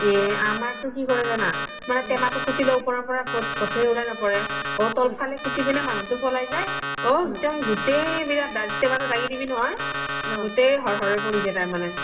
এ আমাৰ তো কি কৰে যানা মানে তেমা তো কুতি লই ওপৰৰ পৰা বস্তু খিনি উলাই নপৰে ঔ ত্ল ফালে কুতি পিনে মনুহ্তো পলাই যাই ঔ গুতেই বিলাক তেমা তো দাঙি দিবি নহয় গুতেই হৰ হৰে পৰি যাই তাৰ মানে